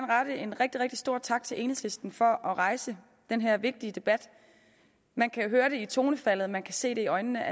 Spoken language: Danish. rette en rigtig rigtig stor tak til enhedslisten for at rejse den her vigtige debat man kan høre det i tonefaldet man kan se det i øjnene